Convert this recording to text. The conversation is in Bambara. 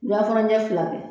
Wula fana ɲɛfila bɛ.